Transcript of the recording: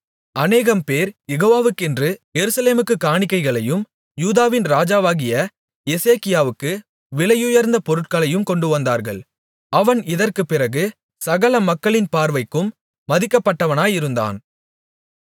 அநேகம்பேர் யெகோவாக்கென்று எருசலேமுக்குக் காணிக்கைகளையும் யூதாவின் ராஜாவாகிய எசேக்கியாவுக்கு விலையுயர்ந்த பொருட்களையும் கொண்டுவந்தார்கள் அவன் இதற்குப்பிறகு சகல மக்களின் பார்வைக்கும் மதிக்கப்பட்டவனாயிருந்தான்